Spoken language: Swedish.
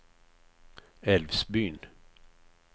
Älvsbyn